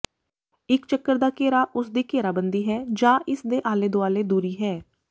ਇਕ ਚੱਕਰ ਦਾ ਘੇਰਾ ਉਸ ਦੀ ਘੇਰਾਬੰਦੀ ਹੈ ਜਾਂ ਇਸਦੇ ਆਲੇ ਦੁਆਲੇ ਦੂਰੀ ਹੈ